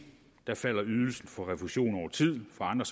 falder ydelsen for refusion over tid for andre